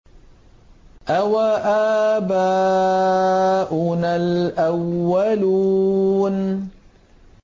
أَوَآبَاؤُنَا الْأَوَّلُونَ